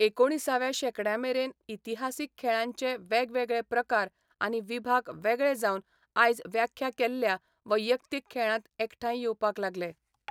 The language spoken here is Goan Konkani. एकुणिसाव्या शेंकड्यामेरेन इतिहासीक खेळांचे वेगवेगळे प्रकार आनी विभाग वेगळे जावन आयज व्याख्या केल्ल्या वैयक्तीक खेळांत एकठांय येवपाक लागले.